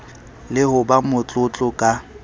le ho ba motlotlo ka